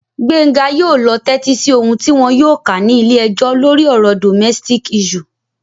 Gbenga yóò lọ tẹ́tí sí ohùn tí wọn yóò kà ní ilé-ẹjọ́ lórí ọ̀rọ̀ domestic issue